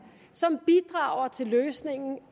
som bidrager til løsningen